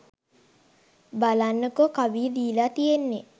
බලන්නකෝ කවිය දීලා තියෙන්නේ